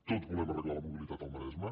tots volem arreglar la mobilitat al maresme